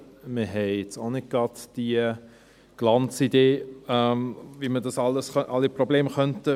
Wir haben jetzt auch nicht gerade die Glanzidee, wie man alle Probleme beheben könnte.